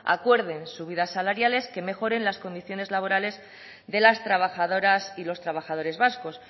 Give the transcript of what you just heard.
acuerden subidas salariales que mejoren las condiciones laborales de las trabajadoras y los trabajadores vascos